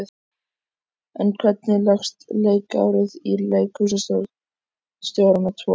En hvernig leggst leikárið í leikhússtjórana tvo?